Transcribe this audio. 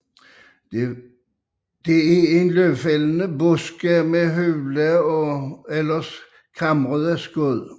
Det er løvfældende buske med hule eller kamrede skud